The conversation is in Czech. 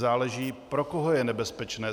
Záleží, pro koho je nebezpečné.